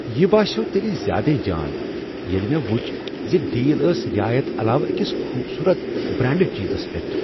یہ باسیٛوو تیٚلہ زیادے جان ییٚلہ مےٚ ؤچھ ز ڈیل ٲس رعایت علاوٕ أکس خوبصورت، برانڈڈ چیزس پیٹھ۔